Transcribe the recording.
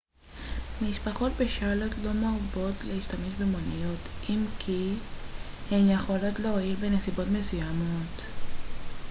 במשפחות בשארלוט לא מרבות להשתמש במוניות אם כי הן יכולות להועיל בנסיבות מסוימות